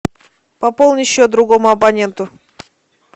пополни счет другому абоненту